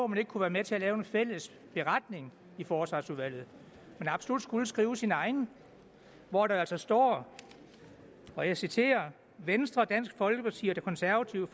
man ikke kunne være med til at lave en fælles beretning i forsvarsudvalget men absolut skulle skrive sin egen hvor der altså står og jeg citerer venstre dansk folkeparti og det konservative